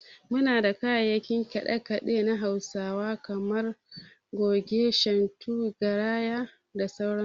Muna da kayan kiɗa kiɗen na Hausawa kamar su, Goge, Shantu, Garaya, kda sauran su.